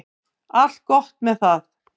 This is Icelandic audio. Allt gott með það.